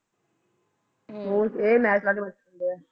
ਹੋਰ ਇਹ ਮੈਚ ਲਾ ਕੇ ਬੈਠੇ ਹੁੰਦੇ ਹੈ